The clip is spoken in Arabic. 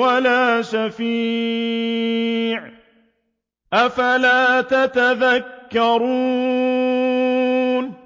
وَلَا شَفِيعٍ ۚ أَفَلَا تَتَذَكَّرُونَ